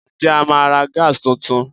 Ǹjẹ́ a máa ra Gas tuntun?